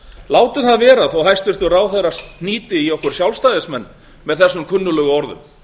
látum það vera þó að hæstvirtur ráðherra hnýti í okkur sjálfstæðismenn með þessum kunnuglegu orðum